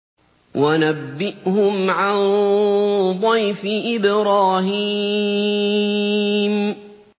وَنَبِّئْهُمْ عَن ضَيْفِ إِبْرَاهِيمَ